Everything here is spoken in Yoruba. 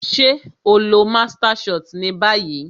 Ṣé o lọ master shot ni ibi bí yìí